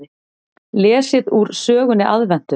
Lesið úr sögunni Aðventu.